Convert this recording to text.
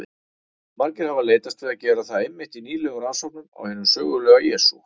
Margir hafa leitast við að gera það einmitt í nýlegum rannsóknum á hinum sögulega Jesú.